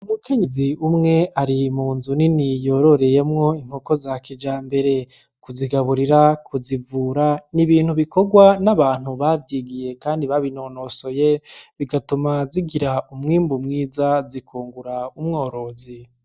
Umukenyezi umwe ari munzu nini yororereyemwo inkoko za kijambere kuzigaburira ,kuzivura ni ibintu bikorwa n'abantu bavyigiye kandi babinonosoye bigatuma zigira umwimbu mwiza zikungura umworozi.